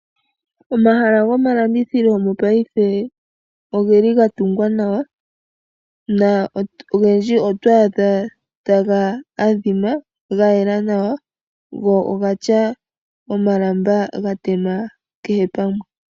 Omahala gomalandithilo mopaife oge li ga tungwa nawa na ogendji oto adha taga adhima ga yela nawa go ogatya omalamba ga tema kehe pamwe.